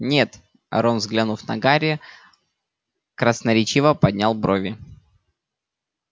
нет рон взглянув на гарри красноречиво поднял брови